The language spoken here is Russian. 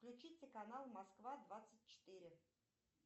включите канал москва двадцать четыре